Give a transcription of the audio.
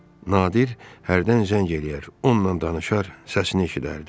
Nadir hərdən zəng eləyər, onunla danışar, səsini eşidərdi.